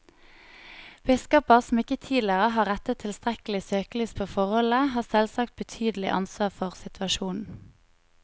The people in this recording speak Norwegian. Biskoper som ikke tidligere har rettet tilstrekkelig søkelys på forholdene, har selvsagt betydelig ansvar for situasjonen.